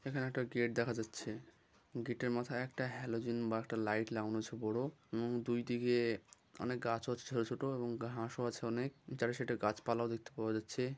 এখানে একটা গেট দেখা যাচ্ছে গিট -এর মাথায় একটা হ্যালোজেন বা একটা লাইট লাগানো আছে বড় এবং দুইদিকে অনেক গাছ হচ্ছে ছোট ছোট এবং হাঁস ও আছে অনেক যারা সেটা গাছপালা দেখতে পাওয়া যাচ্ছে ।